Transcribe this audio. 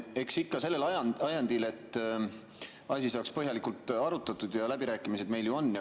Eks ikka sellel ajendil, et asi saaks põhjalikult arutatud ja läbirääkimised meil ju on.